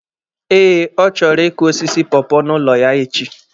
Eh, ọ chọrọ ịkụ osisi pọọpọọ n'ụlọ ya echi.